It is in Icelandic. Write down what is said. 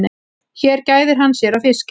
Hér gæðir hann sér á fiski.